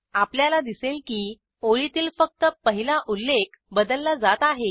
आपल्याला दिसले की ओळीतील फक्त पहिला उल्लेख बदलला जात आहे